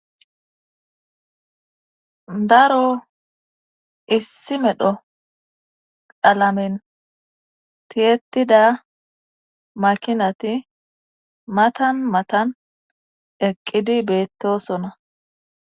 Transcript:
daro issi medho qalamen tiyetida makinati matan matan eqqidi beettosona